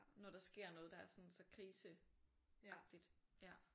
Når der sker noget der er sådan så krise agtigt ja